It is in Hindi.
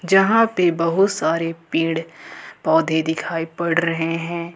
जहां पे बहुत सारे पेड़ पौधे दिखाई पड़ रहे हैं।